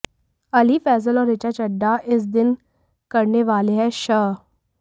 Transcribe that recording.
अली फजल और ऋचा चड्ढा इस दिन करने वाले हैं श